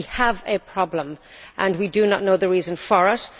We have a problem and we do not know the reason for it.